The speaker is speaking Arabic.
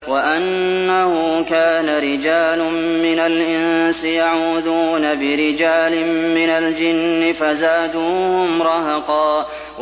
وَأَنَّهُ كَانَ رِجَالٌ مِّنَ الْإِنسِ يَعُوذُونَ بِرِجَالٍ مِّنَ الْجِنِّ فَزَادُوهُمْ رَهَقًا